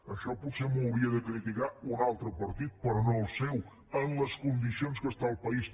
això potser m’ho hauria de criticar un altre partit però no el seu amb les condicions que està el país